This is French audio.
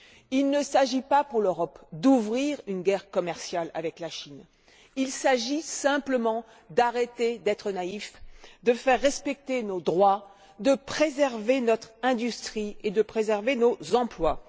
Il ne s'agit pas, pour l'Europe, d'ouvrir une guerre commerciale avec la Chine il s'agit simplement d'arrêter d'être naïfs, de faire respecter nos droits, de préserver notre industrie ainsi que nos emplois.